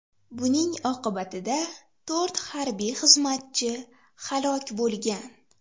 Buning oqibatida to‘rt harbiy xizmatchi halok bo‘lgan.